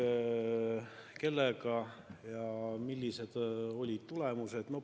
Kui jah, siis kellega ja millised olid tulemused.